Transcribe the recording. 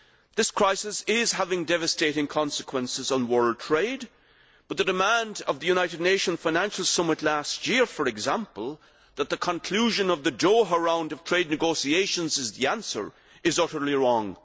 This crisis is having devastating consequences on world trade, but the demand of the United Nations financial summit last year, for example, that the conclusion of the Doha Round of trade negotiations is the answer, is utterly wrong.